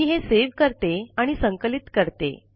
मी हे सेव्ह करते आणि संकलित करते